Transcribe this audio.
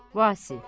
Vasif.